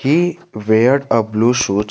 He weared a blue shoes.